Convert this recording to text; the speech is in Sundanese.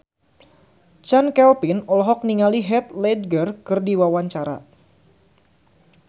Chand Kelvin olohok ningali Heath Ledger keur diwawancara